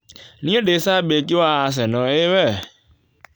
Niĩ ndĩ cambĩki wa Arsenal ĩĩ we?